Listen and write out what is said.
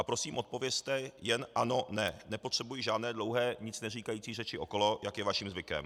A prosím odpovězte jen ano - ne, nepotřebuji žádné dlouhé nic neříkající řeči okolo, jak je vaším zvykem.